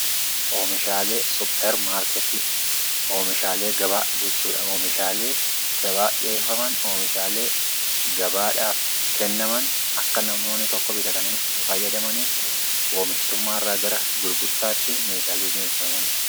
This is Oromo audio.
Oomishalee supper maarkettii, oomishaalee gabaa jechudha. Oomishaalee gabaaf dhiyeeffaman oomishaalee gabaadhaaf kennaman akka namoonni tokko bitatanii itti fayyadamaniif oomishtummaarraa gara gurgurtaatti meeshaalee dhiiyeessamanidha.